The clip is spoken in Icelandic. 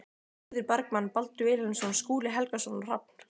Eiður Bergmann, Baldur Vilhelmsson, Skúli Helgason og Hrafn